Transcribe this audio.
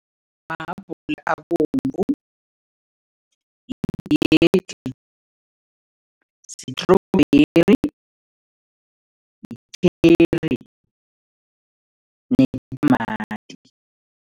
Mahabhula abovu, sitrobheri, yi-cherry netamati.